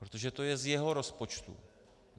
Protože to je z jeho rozpočtu.